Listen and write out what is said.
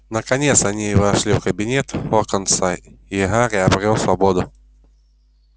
наконец они вошли в кабинет локонса и гарри обрёл свободу